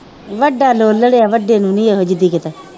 ਵੱਡਾ ਲੋਲੜ ਹੈ ਵੱਡੇ ਨੂੰ ਨੀ ਇਹੋ ਜਿਹੀ